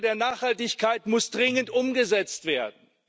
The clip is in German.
Diese Agenda der Nachhaltigkeit muss dringend umgesetzt werden.